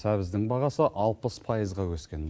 сәбіздің бағасы алпыс пайызға өскен